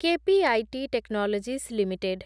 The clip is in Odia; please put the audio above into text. KPIT technologies limited